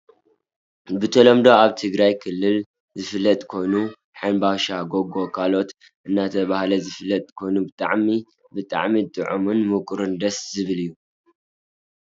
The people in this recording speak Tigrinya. ብተለምዶ ኣብ ትግራይ ክልል ዝፍለጥ ኮይኑ ሕንባሻ ጎጎ ካልኦት እናተባህለ ዝፍለጥ ኮይኑ ጣዕሙ ብጣዕሚ ጥዑምን ምቁርን ደስ ዝብል እዩ ።